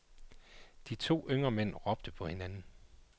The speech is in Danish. De to yngre mænd råbte på hinanden.